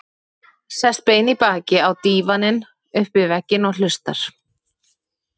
Sest bein í baki á dívaninn upp við vegginn og hlustar.